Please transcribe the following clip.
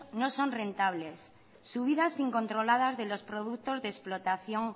no son rentables subidas incontroladas de los productos de explotación